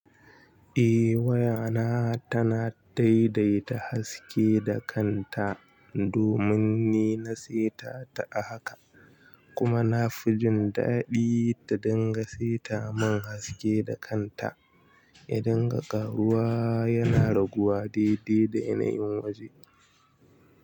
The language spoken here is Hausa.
Eh wayana tana daidaita haske da kanta domin ni na seta ta a haka. Kuma na fi jin daɗi ta dinga seta min haske da kanta. Yadinga ƙaruwa yana raguwa daidai da yanayin waje.